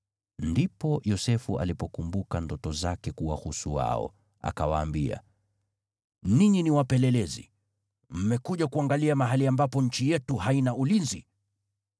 Ndipo Yosefu alipokumbuka ndoto zake kuwahusu wao, akawaambia, “Ninyi ni wapelelezi! Mmekuja kuangalia mahali ambapo nchi yetu haina ulinzi.”